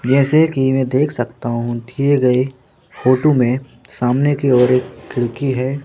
जैसे कि मैं देख सकता हूं दिए गए फोटो में सामने की ओर एक खिड़की है।